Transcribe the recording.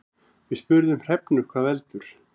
Við spurðum Hrefnu hvað veldur.